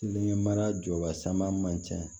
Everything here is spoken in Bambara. Kelen mara jɔbasaman man ca